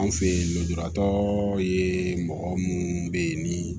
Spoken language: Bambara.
An fɛ yen lujuratɔ ye mɔgɔ munnu be yen ni